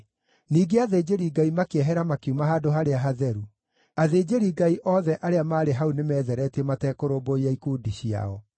Ningĩ athĩnjĩri-Ngai makĩehera makiuma Handũ-harĩa-Hatheru. Athĩnjĩri-Ngai othe arĩa maarĩ hau nĩmetheretie matekũrũmbũiya ikundi ciao.